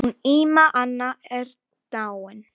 Hún Ína amma er dáin.